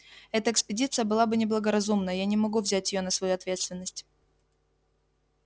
эта экспедиция была бы неблагоразумна я не могу взять её на свою ответственность